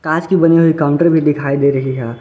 कांच की बनी काउंटर भी दिखाई दे रही है।